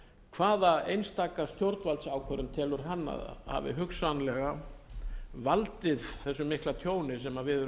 hvaða einstaka stjórnvaldsákvörðun telur hann að hafi hugsanlega valdið þessu mikla tjóni sem við erum